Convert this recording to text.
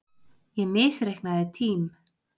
Ég misreiknaði tím